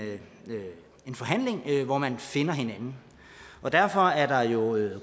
forhandling hvor man finder hinanden derfor er der jo gode